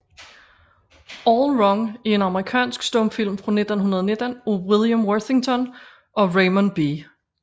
All Wrong er en amerikansk stumfilm fra 1919 af William Worthington og Raymond B